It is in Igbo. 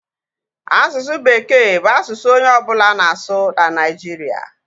Asụsụ bekee bụ asụsụ onye ọbụla na-asụ na Nigeria